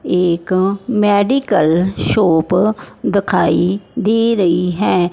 एक medical shop दिखाई दे रही है।